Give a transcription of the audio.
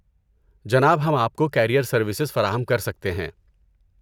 جناب، ہم آپ کو کیریئر سروسز فراہم کر سکتے ہیں۔